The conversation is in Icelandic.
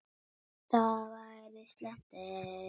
Það væri slæmt, ef